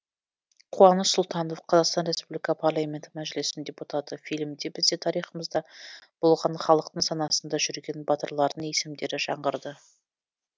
қуаныш сұлтанов қазақстан республикасы парламенті мәжілісінің депутаты фильмде біздің тарихымызда болған халықтың санасында жүрген батырлардың есімдері жаңғырды